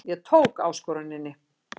Ég tók áskoruninni.